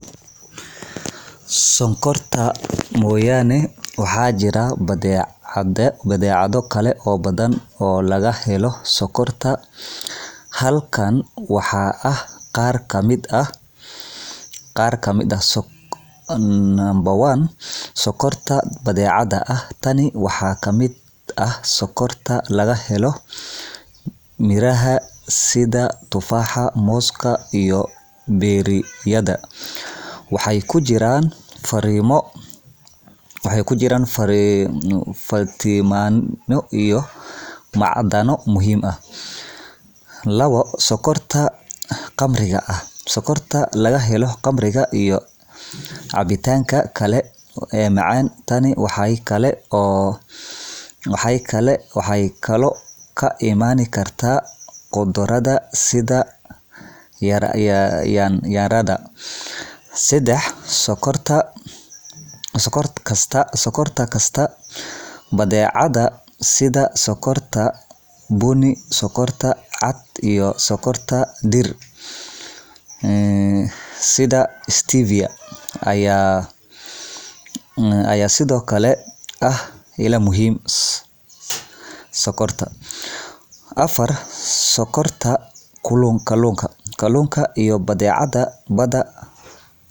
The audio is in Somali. Sonkorta mooyane, waxaa jira badeecado kale oo badan oo laga helo sonkorta. Halkan waxaa ah qaar ka mid ah: 1. Sonkorta Dabiiciga ah Tani waxaa ka mid ah sonkorta laga helo miraha sida tufaaxa, mooska, iyo berry-yada. Waxay ku jiraan fiitamiinno iyo macdano muhiim ah. 2.Sonkorta Khamriga ah Sonkorta laga helo khamriga iyo cabitaanka kale ee macaan. Tani waxay kaloo ka imaan kartaa khudradda, sida yaanyada. 3.Sonkorta Kasta Badeecadaha sida sonkorta bunni, sonkorta cad, iyo sonkorta dhirta sida stevia ayaa sidoo kale ah ilaha sonkorta. 4. Sonkorta Kalluunka Kalluunka iyo badeecadaha badda qaarkood ayaa leh sonkor dabiici